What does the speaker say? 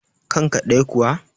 kanka ɗaya kuwa?